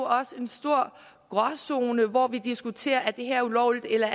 også en stor gråzone hvor vi diskuterer om det her er ulovligt eller